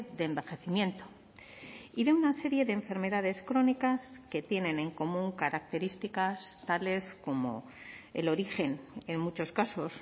de envejecimiento y de una serie de enfermedades crónicas que tienen en común características tales como el origen en muchos casos